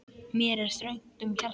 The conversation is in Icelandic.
Mér er þröngt um hjarta.